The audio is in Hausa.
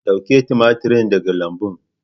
Dauki tumatir daga lambuna.